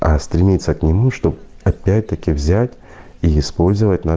стремиться к нему чтоб опять-таки взять и использовать на